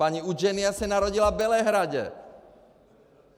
Paní Udženija se narodila v Bělehradě.